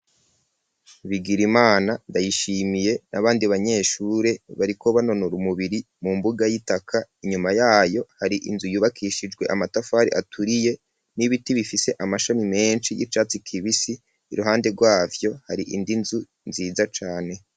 Bigirimana, ndayishimiye ,n'abandi banyeshure bariko banonura umubiri mu mbuga y'itaka, inyuma yayo hari inzu yubakishijwe amatafari aturiye ,n'ibiti bifise amashami menshi y'icatsi kibisi, iruhande rwavyo hari indi nzu nziza cane.